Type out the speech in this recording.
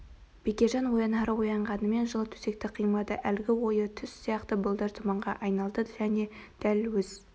бекежан оянары оянғанымен жылы төсекті қимады әлгі ойы түс сияқты бұлдыр тұманға айналды және дәл өз